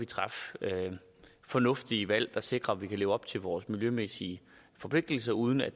træffe fornuftige valg der sikrer at vi kan leve op til vores miljømæssige forpligtelser uden at